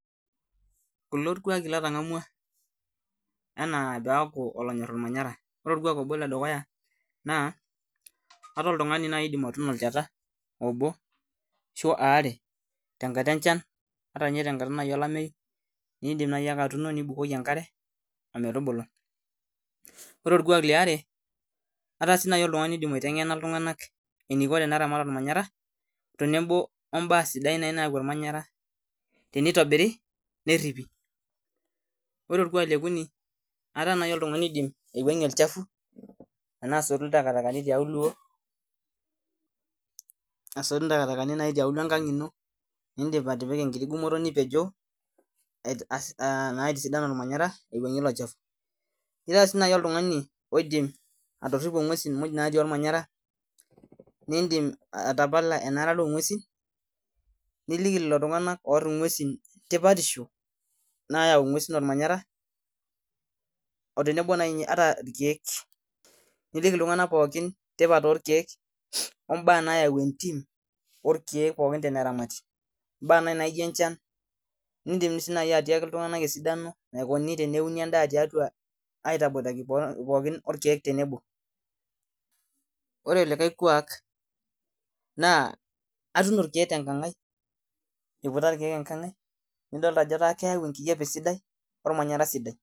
Kulo irkuaaki latang'amua enaa paaku olonyorr irmanyara ore orkuak obo ledukuya naa, ataa oltung'ani najii oidim atuuni olchata obo arashu aare tenkata enchan at nye nayii tenkata olameyu iidim nayii atuuno nibukoki enkare ometubulu, ore orkuak liare ataa sii nayii oltung'ani oidim aiteng'ena iltung'anak eniko teneramat ormanyara teneboo nayii oo baa sidain nayau ormanyara teneitobiri nerripi, ore orkuak lee okuni ataa nayii oltung'ani oidim aiuwang'ie olchafu enaa asotu intakatakani tiauluo asotu intakatakani nayii tiauluo enkang' ino niidim atipika enkiti gumoto nipeejoo naa aitisidan ormanyara aiwangir ilochafu, nitaa sii nayiii oltung'ani oidim atoripo ing'uesin mujj naati ormanyara, niidim atapala enarata oo ng'uesin niliki lelo tung'anak ooarr ing'uesin tipatisho nayau ing'uesin ormanyara oo tenebo nayii ata irkiek, nijeki iltung'anak pooki tipat oorkiek oo baa nayau entim, orkiek pookin teneramati, ibaa nayii naijo enchana niidim sii nayii atiaki iltung'anak esidano naikuni teneuni endaa tiatua aitopoidaki pookin oo rkiek tenebo, ore likae kuak naa atuuno irkiek tenkang' aiiiputa irkiek enkang' aii nidoolta ajoo keyau enkijape sidai ormanyara sidai.